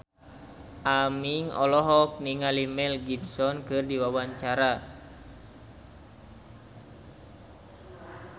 Aming olohok ningali Mel Gibson keur diwawancara